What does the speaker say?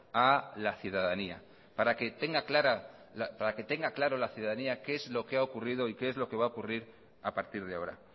a la ciudadanía para que tenga claro la ciudadanía qué es lo que ha ocurrido y qué es lo que va a ocurrir a partir de ahora